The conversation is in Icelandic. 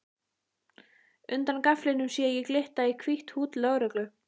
Undan gaflinum sé ég glitta í hvítt húdd lögreglu